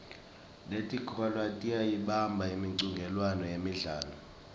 netikolwa tiyayibamba imicudzelwano yemidlalo